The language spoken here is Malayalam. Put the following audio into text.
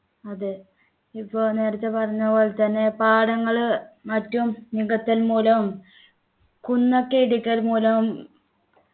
അതെ ഇപ്പോ ഒരു നേരത്തെ പറഞ്ഞ പോലെ തന്നെ പാടങ്ങള് മറ്റും നികത്തൽ മൂലവും കുന്നൊക്കെ ഇടിക്കൽ മൂലവും